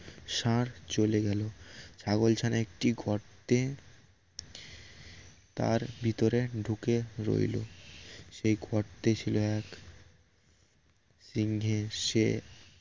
ষাঁড় চলে গেল ছাগলছানা একটি গর্তে তার ভিতরে ঢুকে রইল সে গর্তে ছিল এক সিংহে শের